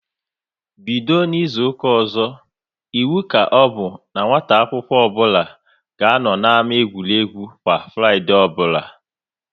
Bido n'izuka ọzọ, iwu ka ọbụ n'nwata akwụkwọ nwata akwụkwọ ọbụla ga anọ n'ámá egwuregwu kwa Fraịdee ọbụla!